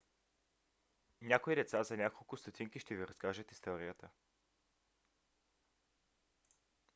някои деца за няколко стотинки ще ви разкажат историята